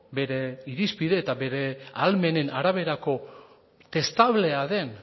bere irizpide eta bere ahalmenen araberako testablea den